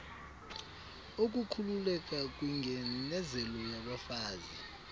ukukhuululeka kwingeinezelo yabafazi